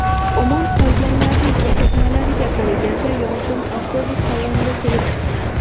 Omon qolganlarning ko‘rsatmalariga qaraganda, yong‘in avtobus salonida kelib chiqqan.